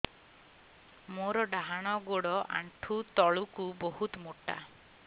ମୋର ଡାହାଣ ଗୋଡ ଆଣ୍ଠୁ ତଳୁକୁ ବହୁତ ମୋଟା